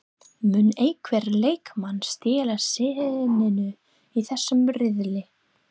Mun einhver leikmaður stela senunni í þessum riðli?